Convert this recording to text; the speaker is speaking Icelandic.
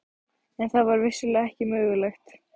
En það var vissulega ekki mögulegt.